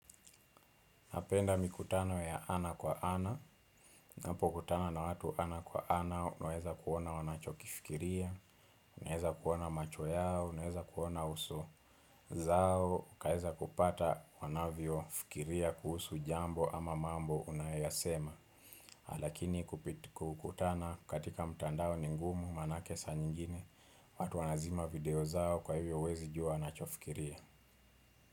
Napenda mikutano ya ana kwa ana, ninapo kutana na watu ana kwa ana, unaeza kuona wanachokifikiria, unaeza kuona macho yao, unaeza kuona uso zao, ukaeza kupata wanavyo fikiria kuhusu jambo ama mambo unayoyasema. Lakini kukutana katika mtandao ni ngumu maanake saa nyingine, watu wanazima video zao kwa hivyo huwezi jua wanachofikiria.